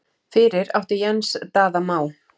Fyrir átti Jens Daða Má.